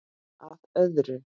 Að öðru.